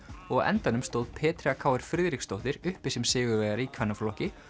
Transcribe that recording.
og á endanum stóð Petrea Friðriksdóttir uppi sem sigurvegari í kvennaflokki